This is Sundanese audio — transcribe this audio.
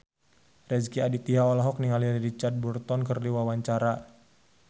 Rezky Aditya olohok ningali Richard Burton keur diwawancara